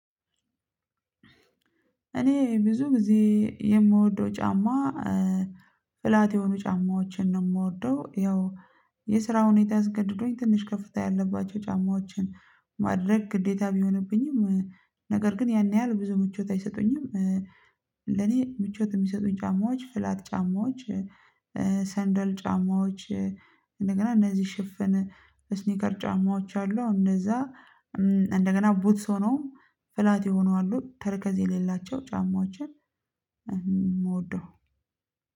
እኔ ብዙ ጊዜ የምወደው ጫማ ፍላት የሆኑ ጫማዎችን ነው የምወደው። ያው የስራ ሁኔታ አስገድዶኝ ትንሽ ከፍታ ያለባቸው ጫማዎችን ማድረግ ግዴታ ቢሆንብኝም ነገር ግን ያን ያህል ብዙ ምቾት አይሰጡኝም። ለኔ ምቾት የሚሰጡኝ ጫማዎች ፍላት ጫማዎች ሰንደል ጫማዎች እንደገና እነዚህ ሽፍን እስኒከር ጫማዎች አሉ እንደዛ እንደገና ቡትስ ሆኖ ፍላት የሆኑ አሉ ተረከዝ የሌላቸው ጫማችን። ምወደው